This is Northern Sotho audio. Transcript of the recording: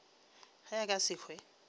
ge a ka se hwe